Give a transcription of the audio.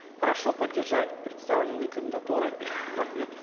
прошу поддержать представленные кандидатуры рахмет